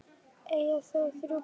Eiga þau þrjú börn.